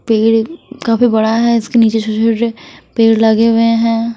पेड़ भी काफी बड़ा है। इसके नीचे छोटे-छोटे पेड़ लगे हुए हैं।